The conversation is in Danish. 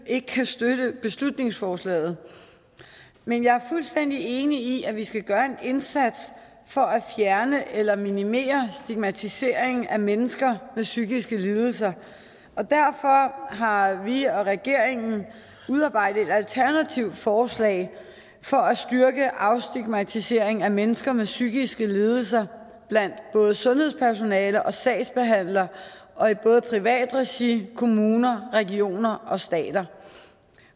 ikke kan støtte beslutningsforslaget men jeg er fuldstændig enig i at vi skal gøre en indsats for at fjerne eller minimere stigmatisering af mennesker med psykiske lidelser og derfor har vi og regeringen udarbejdet et alternativt forslag for at styrke afstigmatisering af mennesker med psykiske lidelser blandt både sundhedspersonale og sagsbehandlere og i både privat regi kommuner regioner og stat